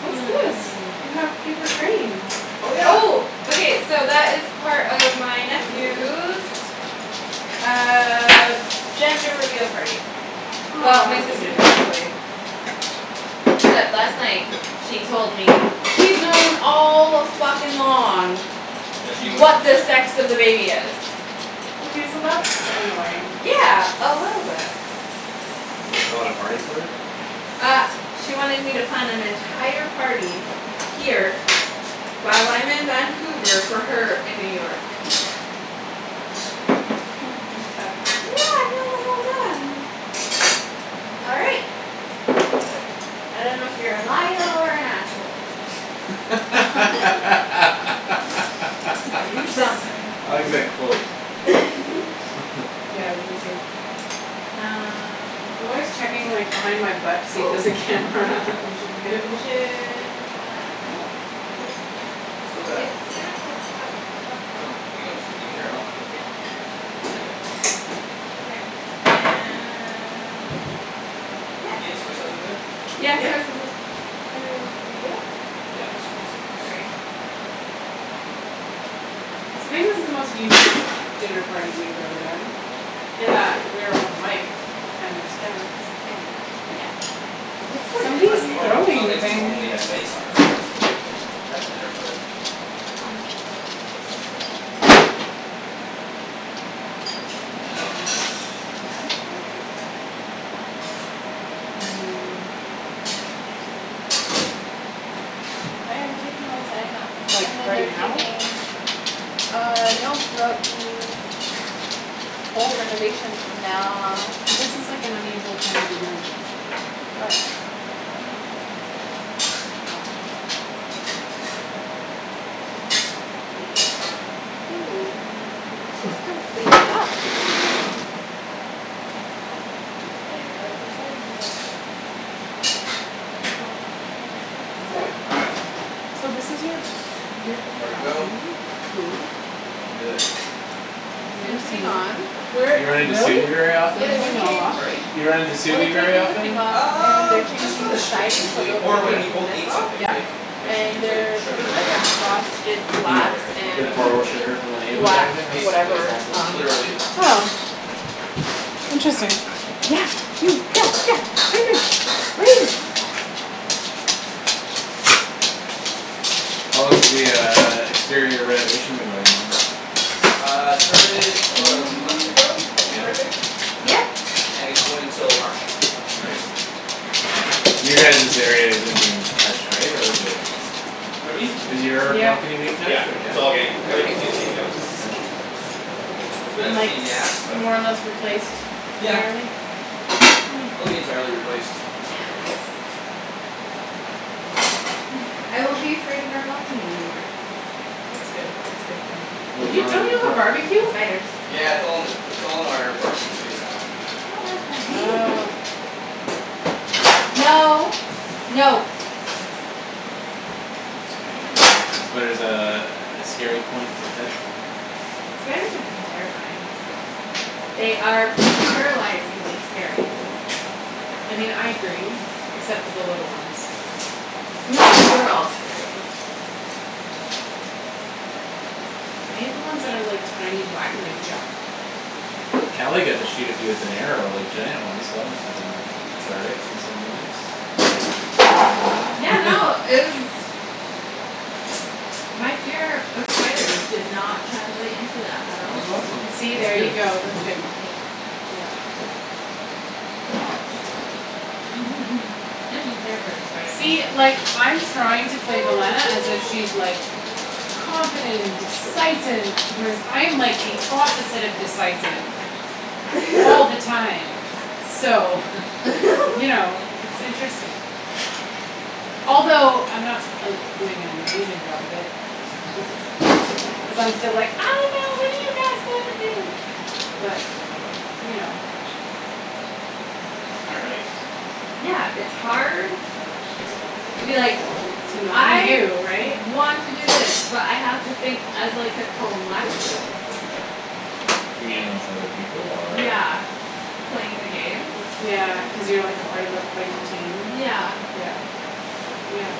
What's this? You have paper cranes. Oh, yeah. Oh. Okay, so that is part of my nephew's uh gender reveal party. Well, my Aw. sister's, actually. Except last night she told me she's known all a-fuckin'-long That she knew what she what was the having. sex of the baby is. Okay, so that's annoying. Yeah, a little bit. And you a party for it? Uh she wanted me to plan an entire party here while I'm in Vancouver for her in New York. Then she tells me, like, "No, I've known the whole time." All right. I don't know if you're a liar or an asshole. I But you're something. like that quote. Yeah, I do too. Um I'm always checking, like, behind my butt to see if Oh. there's a Yep. camera and should move. Should we pull that out now? No, not yet. Still got a It's gonna cup- her off though. Yeah. Not yet. Okay, and Yeah. Do you have the soy sauce over there? Yeah, soy Yep. sauce's Yeah, it's, it's a. Sorry. No, it's all right. So maybe this is the most unique dinner party we've ever done in that we're all miked and there's cameras. Yeah, yep. Yeah, it's Somebody's Somebody's not normal. It's throwing not the throwing like we thing. normally things. have mikes on ourselves to have a dinner party. All That's right, so gotta be that's that. downstairs neighbor? I mean, that's interesting. Oh, yeah, they're taking all the siding off. Like, And then right they're now? taking Uh, no, throughout the whole renovation's from now Cuz this is, like, an unusual time to be doing this. Oh, yeah, I think it's just downstairs. Oh. Yeah. Cool. It's completely off. I didn't realize their siding was off. Well All right. So this is your, your One more to go. balcony, cool. And we're good. Soon to be This one's gonna gone. be quick. You run into Really? very They're Yeah, often? they're pulling gonna it all off? change Pardon me? Do you run into Well, they're very taking the often? thing off. And they're Um, just on changing the the street siding so usually, they'll be or when Yeah. we taking both this need off. something, Yep. like if she And needs, like, they're putting sugar or like I a need, like frosted You glass garlic or something like b- and that we'll, borrow like sugar from the neighbour type Yeah, black of thing? That's, basically. that's whatever awesome. on. Literally. Oh. Interesting. Yeah, you, yeah, yeah, what are you doing? What are you doing? How long has the uh exterior renovation been going on? Uh, started about a month ago, I Yeah? think? Right, babe? Yeah. And it's going till March. Right. You guys's area isn't being touched, right, or is it? Pardon me? Is your balcony being touched Yeah, or? Yeah? it's all getting, everything's getting taken down. Oh, interesting. That's a bit and of a like pain in the ass, but. more or less replaced Yeah. entirely It'll be entirely replaced. Yes. I won't be afraid of our balcony anymore. That's good. That's a good thing. What was You, wrong with don't it you have a before? barbeque? Spiders. Yeah, it's all in the, it's all in our parking space now. Oh. No. No. Spider's a, a scary point for Ped? Spiders are fucking terrifying. They are paralyzingly scary. I mean, I agree except for the little ones. No, they're all scary. Okay. I hate the ones that are, like, tiny black and they jump. Well, Kali got to shoot a few with an arrow, like, giant ones so that musta been cathartic in some ways or maybe not. Yeah, no, it was My fear of spiders did not translate into that at all. That's awesome; See? that's There you good. go; that's good. Eh. Yep. spider See? somewhere. Like, I'm trying to play as if she's, like confident and decisive whereas I'm like the opposite of decisive all the time. So, you know, it's interesting. Although I'm not, like, doing an amazing job of it. Cuz I'm still like, "I don't know; what do you guys wanna do" but you know. All right. Yeah, it's hard to be like To not be "I you, right? want to do this but I have to think as, like, a collective." You mean with other people, or? Yeah, playing the game. Yeah, cuz you're, like, a part of a fighting team? Yeah. Yeah. Yeah.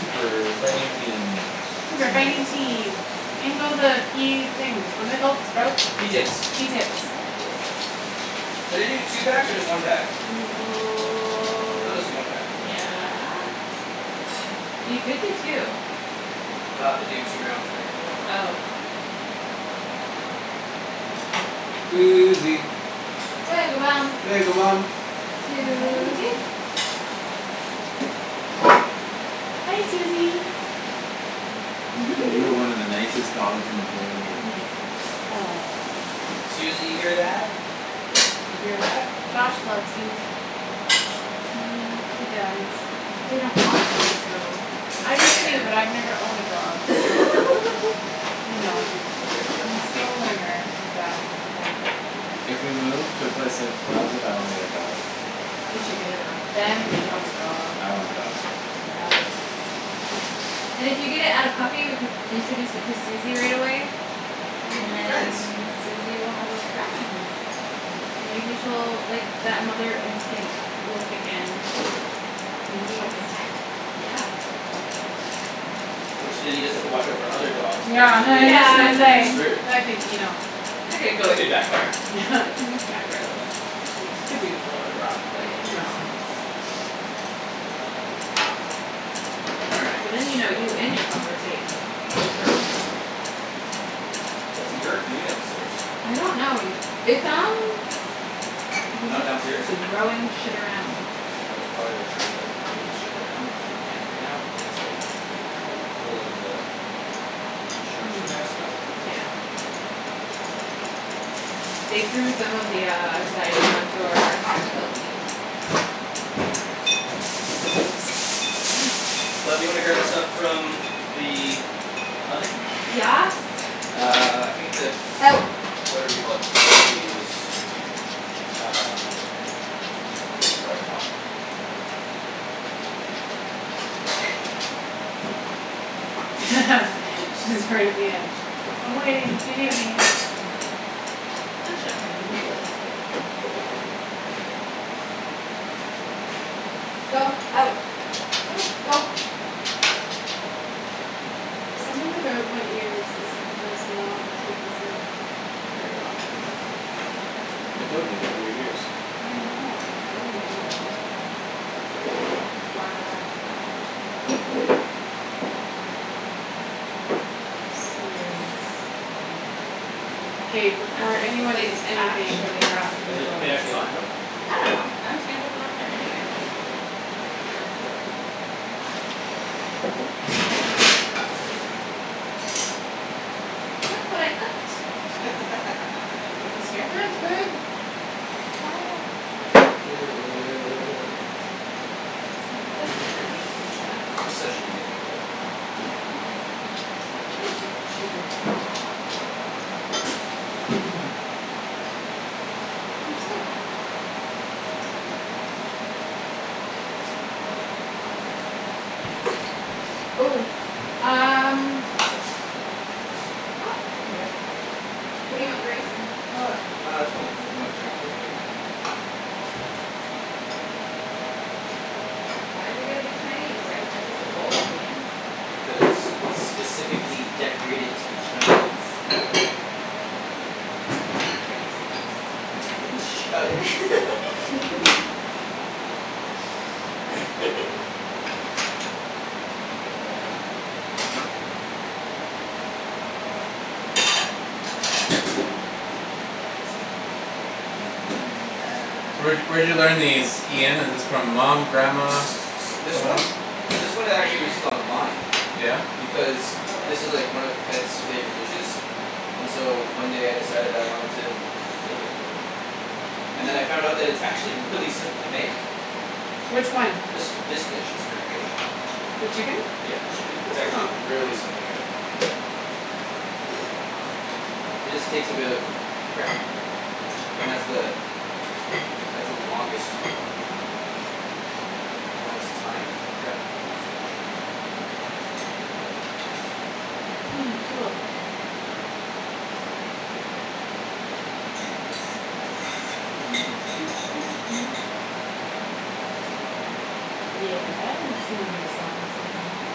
Super fighting team, that's Super your fighting name. team. In go the pea things. What are they called? Sprouts? Pea Pea tips? tips. Pea tips. Should I do two packs or just one pack? Maybe I'll just do one pack. Yeah. You could do two. Then I'll have to do two rounds then, I think. Oh. Susie. Susie. Hi. Hi, Susie. You're one of the nicest dogs in the whole world. Yes, you are. Susie, Aw. you hear that? You hear that? Josh loves you. He does. They don't walk you so I it's do too, fair. but I've never owned a dog so you know. Hey, there. I'm still a learner with that whole thing. If we move to a place that allows it, I wanna get a dog. You should get a dog. I Ben wanna get a dog. wants a dog. I want a dog. And if you get it at a puppy we can introduce it to Susie right away. Then they And could be friends. then Susie will have a friend. And maybe she'll, like, that mother instinct will kick in. Maybe she'll protect it. Yeah. Which then you just have to watch our for other dogs playing Yeah, with was it just because Yeah, then gonna and you're kinda say, then screwed. that could, you know That could backfire. back for a little bit. Could be a little bit rough, but, you Yeah. know. All So right, then you know you so. and your pup are safe for sure. What's Yerk doing downstairs? I don't know it, it sounds like he's Not just downstairs? throwing shit around. Oh, he's probably, like, trying to, like move his shit around cuz he can't right now, cuz it's, like full of the construction Hmm. guy stuff. Yeah. They threw some of the uh siding onto our balcony. All right. Oops. Ah. Love, do you wanna grab the stuff from the oven? Yes. Uh, I think the Out. whatever you call it probably is Um. probably hot. She's right at the edge. "I'm waiting if you need me." I'm not sure if we need this, but. Go. Out. Go. Something about my ears is, does not keep this in. Very well. I told you you got weird ears. I know, I really do. All right, sweet. K, I'm not before sure the anyone plate is eats anything, actually there has hot to be Is but the photos. plate actually hot? No? I don't know. I'm just gonna put it on there anyway. Okay. Look what I cooked. What was here? Ah, wash your It does hands. look good. I'm such an amazing chef. You're such an amazing chef. Oh, thanks, You're Ian. welcome. You're a cheater. You're so happy. Ooh, um What's up? Nope, I can do it. What do you want the rice in? Uh, j- uh, just one of, o- one of the Chinese bowls, maybe? Why's it gotta be Chinese? Why isn't it just a bowl, Ian? Cuz it's specifically decorated to be Chinese. Y'all T- Shut racist. it. I'm gonna take the lid off. And in the So where'd ove- y- where'd you learn these, Ian, is this from mom, grandma, This someone one? else? This From one, it actually was just grams. online. Yeah? Because Oh, this is like this? one of Ped's favorite dishes. And so one Yeah. day I decided I wanted to make it for her. And then I found that it's actually really simple to make. Which one? This, this dish. This current dish. The chicken? Yeah, the chicken, it's actually Oh. really simple to make. It just takes a bit of prep. And that's the that's the longest longest time is the prep portion. Hmm, cool. Yeah, we're singing your song, Susie.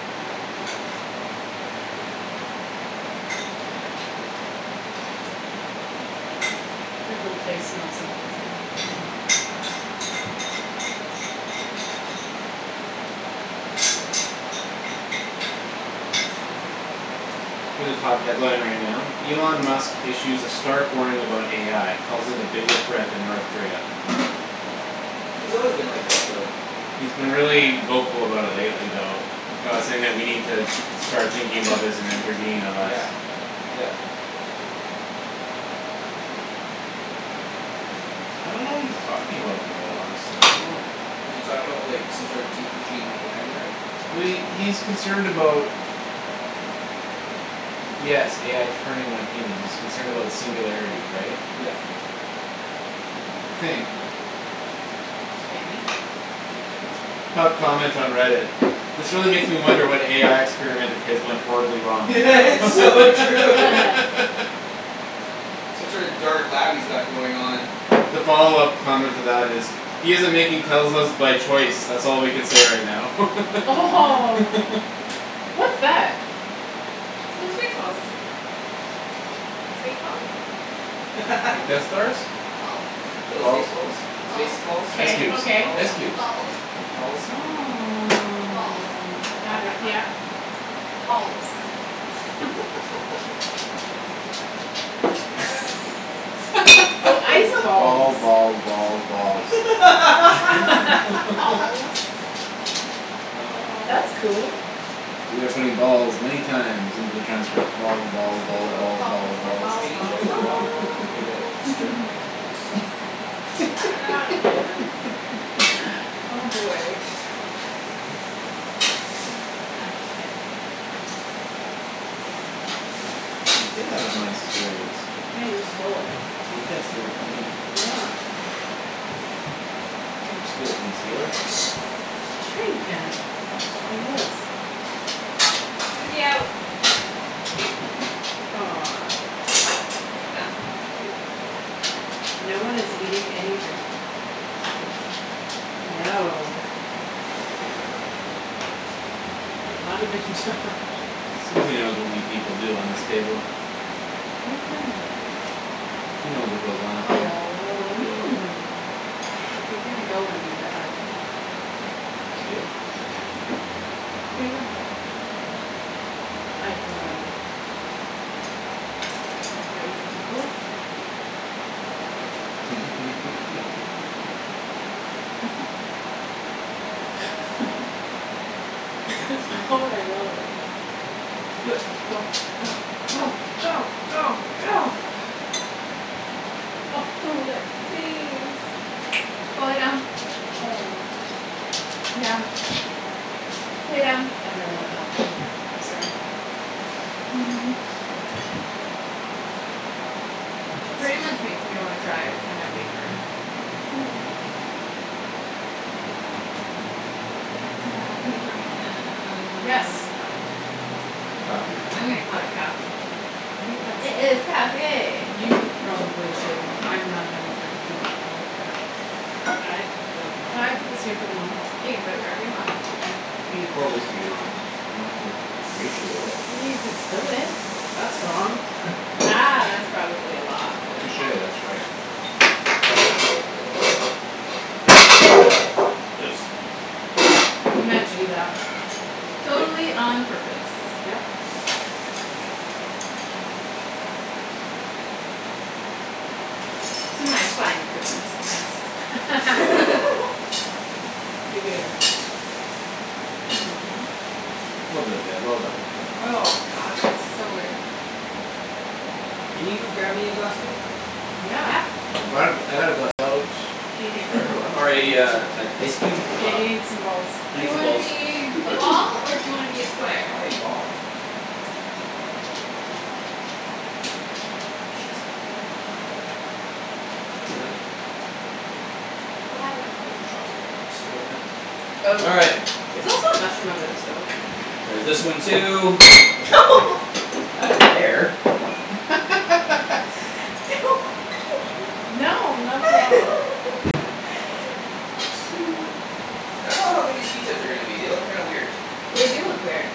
Your whole place smells amazing. Here's a top headline right now, Elon Musk issues a stark warning about AI calls it a bigger threat than North Korea. He's always been like that though. He's been Front one or back really one? vocal about it Pardon me? That's lately fine, right though. there. About saying that we need to start thinking about this and intervene unless Yeah, yep. I don't know what he's talking about though, honestly. I don't know Is he talking about, like, some sort deep machine AI learning? Well, he, he's concerned about Yes, AI turning on humans; he's concerned about the singularity, right? Yep. I think. It's so yummy. Top comment on Reddit. "This really makes me wonder what AI experiment of his went horribly wrong." It's so true. Some sort of dark lab he's got going on. The follow-up comment to that is "He's isn't making Teslas by choice. That's all we can say right now." Oh, what's that? They're space balls. Space balls. Like Death Stars? Balls Little Balls. stace balls. Space Balls balls, Ice K, cubes, okay. balls. ice cubes. Balls Balls. Oh. Balls Got it, yeah. Balls Oh, ice Balls, balls. balls, balls, balls. Balls Oh, That's cool. man. We are putting balls many times into the transcript: balls, balls, Hey, balls, love. balls, balls, Balls, balls, balls, Can you balls, check balls. the balls wok? And give it a stir if it's I dunno how to do this. Oh, boy. Ak, shit. Hey, get out of my stealings. Hey, you stole it. Well, you can't steal it from me. You can't steal from the stealer. Sure you can, Nice, like thank you. this. Susie, out. Aw. There you go. Thank you. No one is eating anything. No. Not even Josh. Susie knows what we people do on this table. What are you talking about? She knows what goes on up here. Oh, well, I mean if you're gonna go and do that. Steal? What are you talking about? I have no idea. You crazy people. All Susie. right, all right. Do it. Go, go, Right. go, go, go, go. Oh, that face. Go lay down. Aw. Down. Lay down. I'm really not helping. I'm sorry. Pretty much makes me wanna cry every time I leave her. Uh, can you pour me some Yes. coffee? Coffee. I'm gonna call it coffee. I think that's It is coffee. You probably should. I'm not known for doing well at that. I don't know. Can I put this here for the moment? You can put it wherever you want. How can you pour whiskey wrong? You don't have to ratio it. You could spill it; that's wrong. Ah, that's probably a lot, but. Touche, that's right. Oops. You meant to do that. Yep. Totally on purpose. Yep. To my fine cooking skills. Hear, hear. Well done, Ped, well done. Oh, god, that is so good. Can you grab me a glass, babe? Yeah. Yeah. I brought a, I got a glass out Hey for everyone. Or a, uh, an ice cube? Yeah, you need some Um balls. I Do need you some wanna balls. be a ball or do you wanna be a square? I wanna be ball. Ah, shit. Oh, well. C'est la vie. What happened? There's a chopstick underneath the stove now. Oh, All right. there's also a mushroom under the stove. There's this one too. Not in there. Don't touch me. No, not at all. I don't know how good these pea tips are gonna be; they look kind weird. They do look weird.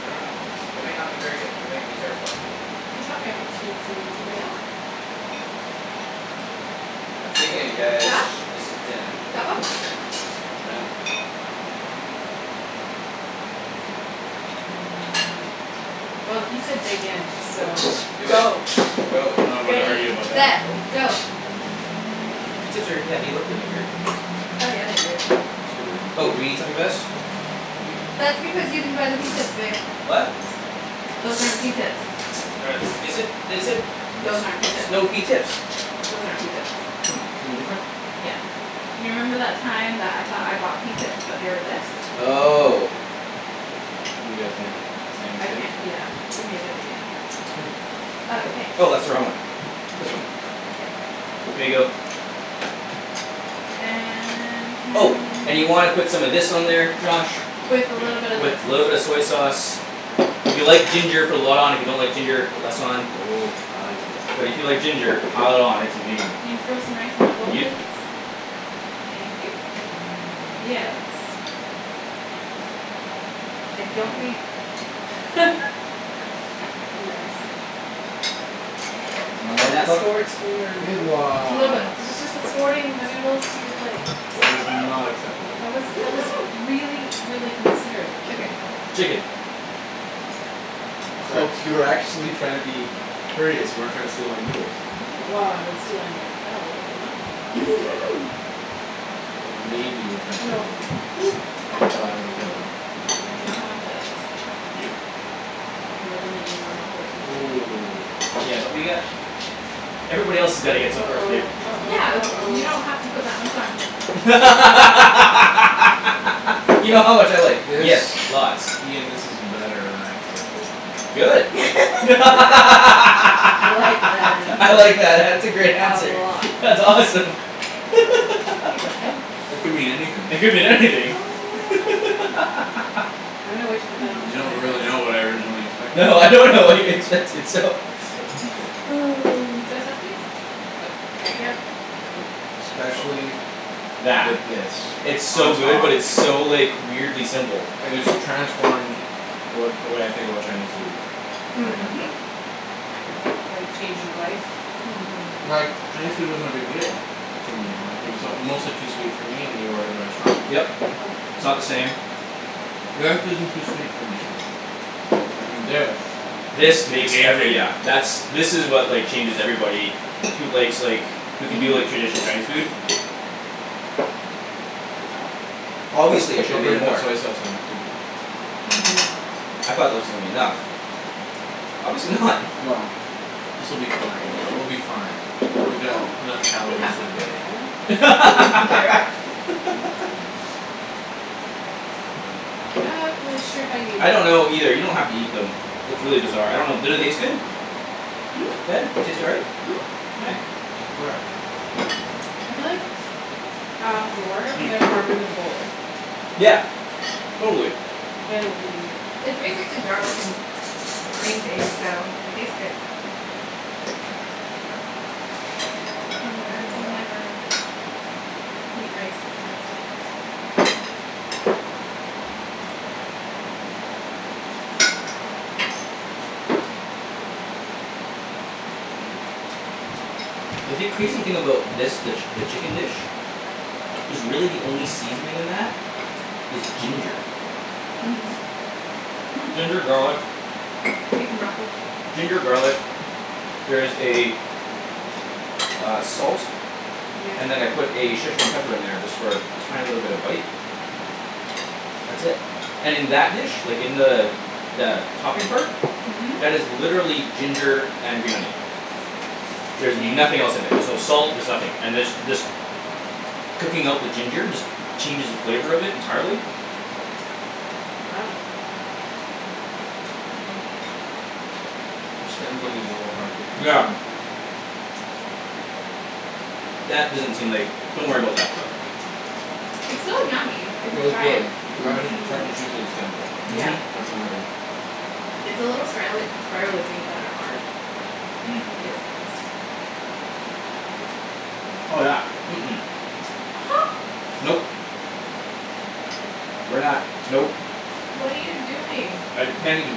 I don't know. They might not be very good. They might be terrible, actually. Can you top me off a teensy weensy bit? Yeah. That's Dig good, in thank guys, Josh, you. this is dinna. top up? Yes, ma'am. Well, he said dig in, so. Do it, Go. go. I'm not one to argue Ready, about that. set, Nope. go. Pea tips are, yeah, they look really weird. Oh, yeah, they do. Super weird. Oh, do we need something for this? We do. That's because you didn't buy the pea tips, babe. What? Those aren't pea tips. They said, they said Those aren't pea s- tips. snow pea tips. Those aren't pea tips. Oh, something different? Yeah, you remember that time that I thought I bought pea tips but they were this? Oh. You guys made the same I mistake. can't, yeah, we made it again. Oh. Okay. Oh, that's the wrong one. This one. Yeah. Here you go. And can Oh, and you y- wanna put some of this on there, Josh. With a little bit Yep. of this. With little bit of soy sauce. If you like ginger, put a lot on, if you don't like ginger, put less on. Oh, I like ginger. But if you like ginger pile it on; it's amazing. Can you throw some rice in my bowl, please? Yep. Thank you. Yeah, that's I don't think Nice. You want more Can I then that, love? escort your Good noodles? Little bit. I was just escorting the noodles to your plate. That was not acceptable. That was, it was really, really considerate. Chicken. Chicken. Oh you were actually trying to be courteous; you weren't trying to steal my noodles. No, well, I would steal anything that fell but, no. But maybe you were trying to Oh, steal no. my noodles. And that's why I was Made offended. it. You know how much I like. Yep. More than any normal person should eat. Ooh. Yeah, but we got Everybody else's gotta get some first, babe. uh-oh, Yeah, uh-oh, you don't have to uh-oh. put that much on. You know how much I like. This, Yes, lots. Ian, this is better than I expected. Good. I'm I I like that answer. like that; that's a great A answer. lot. That's awesome. Here you go, Ped. It could mean anything. It could mean Oh, anything. yeah. I'm gonna wait to put that You onto my don't rice. really know what I originally expected. No, I don't know what you expected, so. Oh. Soy sauce, please. Oh, I got it. Yep. Especially with That. this It's on so good top. but it's so, like weirdly simple. It has transformed what, the way I think about Chinese food. Right now. Mhm. Like change your life? Like, Mhm. Chinese food wasn't a big deal to me. Like it was uh mostly too sweet for me when you order in the restaurant. Yep, it's not the same. That isn't too sweet for me. And this This The makes game every, changer. yeah, that's, this is what, like, changes everybody who likes, like who can do, like, traditional Mhm. Chinese food. Obviously I should have Don't made forget to put more. soy sauce on it too. Mhm. I thought that was gonna be enough. Obviously not. Well, this will be fine; we'll be fine. Oh, We got can enough you calories pass for that the for me, darling? day. Thank you. Not really sure how you I don't know either; you don't have to eat them. It's really bizarre. I don't know; did it taste good? Ped, they taste all right? Mhm. All right. Where? I feel like I'll have more when there's Hmm. more room in the bowl. Yeah. Totally. Then it will be easier. It's basically garlic and green beans so it tastes good. And I can never eat rice with chopsticks. Mmm. The thing, crazy thing about this, the, the chicken dish is really the only seasoning in that is ginger. Mhm. Mm. Ginger, garlic. Beef and broccoli. Ginger, garlic. There is a uh, salt. Yeah. And then I put a Szechwan pepper in there just for a tiny little bit of bite. That's it. And in that dish, like, in the the topping part Mhm. that is literally ginger and green onion. There's Thank nothing else in there. you. There's no salt; there's nothing. And there's, this cooking out the ginger just changes the flavor of it entirely. Wow. The stems on these are a little hard to Yeah. consume. That doesn't seem like, don't worry about that stuff. It's still yummy if you Well, it's try good it. but I just, it's Mhm. hard to chew through the stems actually; Yeah. Mhm. that's the only thing It's the little sprialy- spiraly things that are hard. Mm. It seems. Oh, yeah. Mm- mm. Nope. We're not, nope. What are you doing? I can't even